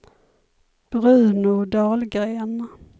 Bruno Dahlgren